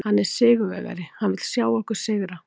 Hann er sigurvegari, hann vill sjá okkur sigra.